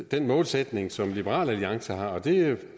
den målsætning som liberal alliance har og det